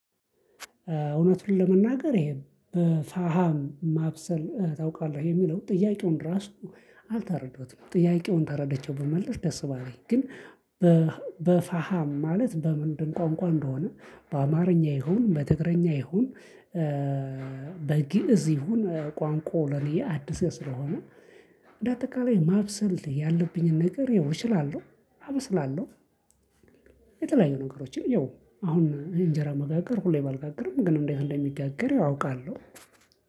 እውነቱን ለመናገር ይሄ በፋሃም ማብሰል ታውቃለህ የሚለው፤ ጥያቄውን ራሱ አልተረዳሁትም ጥያቄውን ተረደቼው ብመልስ ደስ ባለኝ። ግን በፋሃም ማለት በምንድን ቋንቋ እንደሆነ በአማርኛ ይሁን በትግረኛ ይሁን በግእዝ ይሁን ቋንቋው ለኔ አዲስ ስለሆነ እንደ አጠቃላይ ማብሰል ያለብኝን ነገር ያው እችላለሁ አበስላለሁ የተለያዩ ነገሮችን ይው አሁን እንጀራ መጋገር ሁሌ ባልጋግርም ግን እንዴት እንደሚጋግር ያው አውቃለሁ።